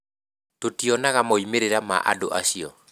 Tũtionaga moimĩrĩra ma maũndu acio.